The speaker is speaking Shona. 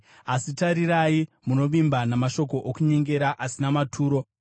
Asi tarirai, munovimba namashoko okunyengera asina maturo.